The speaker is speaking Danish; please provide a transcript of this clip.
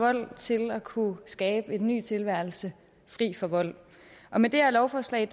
vold til at kunne skabe en ny tilværelse fri for vold og med det her lovforslag